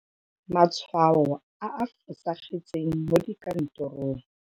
Matshwao a a fosagetseng mo dikantorong.